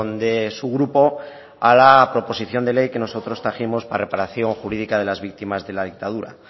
de su grupo a la proposición de ley que nosotros trajimos para la reparación jurídica de las víctimas de la dictadura